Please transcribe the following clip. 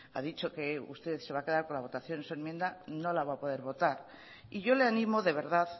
a dicho que usted se va a quedar con la votación de su enmienda no la va a poder votar y yo le animo de verdad